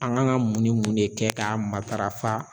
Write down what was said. An gan ga mun ni mun de kɛ k'a matarafa